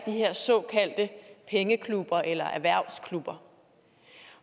her såkaldte pengeklubber eller erhvervsklubber